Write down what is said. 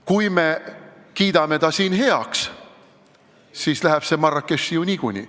Kui me kiidame selle siin heaks, läheb see niikuinii Marrakechi.